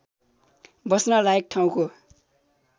बस्न लायक ठाउँको